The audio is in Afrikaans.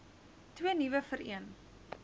twee nuwe vereen